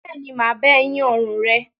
Bẹ́ẹ̀ ni, m á bá ẹ yín ọrùn rẹ.